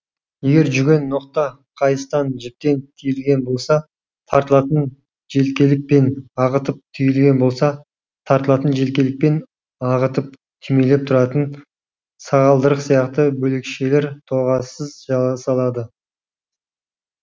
егер жүген ноқта қайыстан жіптен түйілген болса тарылтатын желкелік пен ағытып түйілген болса тарылтатын желкелік пен ағытып түймелеп тұратын сағалдырық сияқты бөлекшелер тоғасыз жасалады